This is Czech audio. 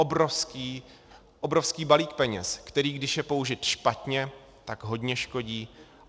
Obrovský balík peněz, který když je použit špatně, tak hodně škodí.